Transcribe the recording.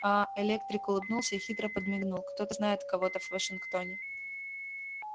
а-а электрик улыбнулся и хитро подмигнул кто-то знает кого-то в вашингтоне